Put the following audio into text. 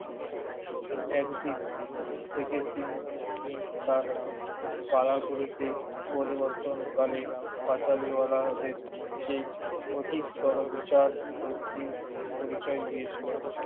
একদিক থেকে তিনি তার পাড়াগুলিতে পরিবর্তন কালে পাঁচালীওয়ালাদের যে অধিকতর বিচার বুদ্ধির পরিচয় দিয়েছিলেন,